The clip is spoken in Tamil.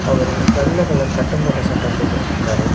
அவரு வெள்ள கலர் கட்டம் போட்ட சட்ட போட்டுகுட்டுருக்காரு.